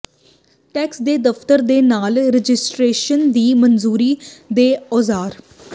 tax ਦੇ ਦਫ਼ਤਰ ਦੇ ਨਾਲ ਰਜਿਸਟਰੇਸ਼ਨ ਦੀ ਮਨਜ਼ੂਰੀ ਦੇ ਔਜ਼ਾਰ